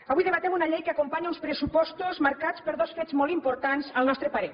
avui debatem una llei que acompanya uns pressupostos marcats per dos fets molt importants al nostre parer